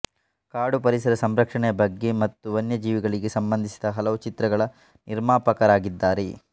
ಕಾಡು ಪರಿಸರ ಸಂರಕ್ಷಣೆಯ ಬಗ್ಗೆ ಮತ್ತು ವನ್ಯಜೀವಿಗಳಿಗೆ ಸಂಬಂಧಿಸಿದ ಹಲವು ಚಿತ್ರಗಳ ನಿರ್ಮಾಪಕರಾಗಿದ್ದಾರೆ